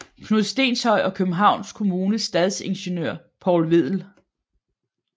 Knud Stenshøj og Københavns Kommunes stadsingeniør Poul Vedel